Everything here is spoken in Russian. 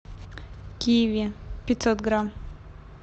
киви пятьсот грамм